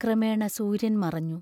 ക്രമേണ സൂര്യൻ മറഞ്ഞു.